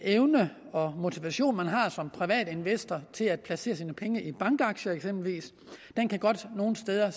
evne og motivation man har som privat investor til at placere sine penge i eksempelvis bankaktier godt nogle steder